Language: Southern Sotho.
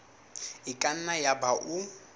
e ka nna yaba o